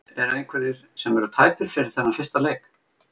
Eru einhverjir sem eru tæpir fyrir þennan fyrsta leik?